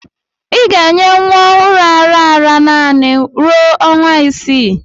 Ị ga-enye nwa ọhụrụ ara ara naanị ruo ọnwa isii